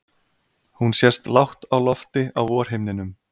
Hún sést lágt á lofti á vorhimninum.